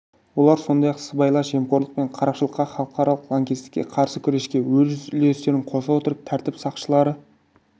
олар сондай-ақ сыбайлас жемқорлық пен қарақшылыққа халықаралық лаңкестікке қарсы күреске өз үлестерін қоса отырып тәртіп сақшылары